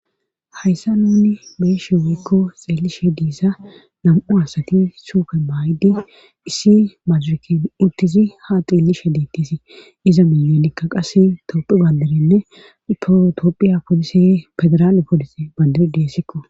hayssa nuni beeshe weykko xeellishe diza nam7u asati sufe baaydi issi madireken uttidi ha xiellishe diittisi iza miyoonikka qasse toophi banderinne fiotopphiya polisi federaale polisi bandir deessikko